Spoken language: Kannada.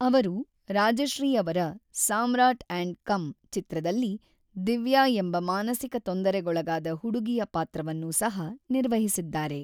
ಅವರು ರಾಜಶ್ರೀ ಅವರ ಸಾಮ್ರಾಟ್ & ಕಂ ಚಿತ್ರದಲ್ಲಿ ದಿವ್ಯಾ ಎಂಬ ಮಾನಸಿಕ ತೊಂದರೆಗೊಳಗಾದ ಹುಡುಗಿಯ ಪಾತ್ರವನ್ನು ಸಹ ನಿರ್ವಹಿಸಿದ್ದಾರೆ.